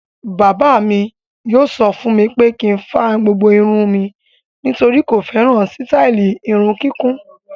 Bàbá mi yóò sọ fún mi pé kí n fa gbogbo irun mi nítorí kò fẹ́ràn sítáálì irun kíkún.